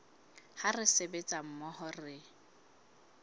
ha re sebetsa mmoho re